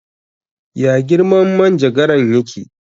Ya girman manjagaran ya ke?